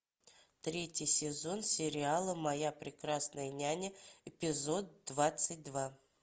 третий сезон сериала моя прекрасная няня эпизод двадцать два